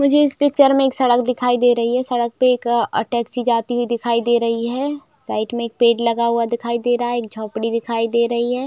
मुझे इस पिक्चर में एक सड़क दिखाई दे रही है सड़क पे टैक्सी जाती हुई दिखाई दे रही है साइड में एक पेड़ लगा हुआ दिखाई दे रहा है एक झोपड़ी दिखाई दे रही हैं।